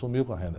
Sumiu com a renda.